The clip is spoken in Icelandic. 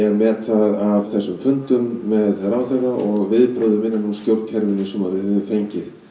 met það af þessum fundum með ráðherra og viðbrögðum innan úr stjórnkerfinu sem við höfum fengið